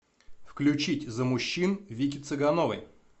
включить за мужчин вики цыгановой